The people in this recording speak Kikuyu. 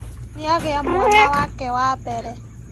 Nĩagĩa mwana wake wa mbere